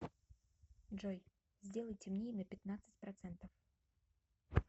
джой сделай темнее на пятнадцать процентов